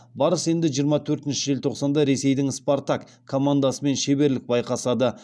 барыс енді жиырма төртінші желтоқсанда ресейдің спартак командасымен шеберлік байқасады